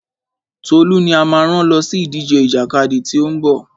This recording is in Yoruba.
Tolú ni a máa rán lọ sí ìdíje ìjàkadì tí ó ń bọ̀.